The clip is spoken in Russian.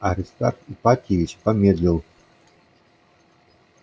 аристарх ипатьевич помедлил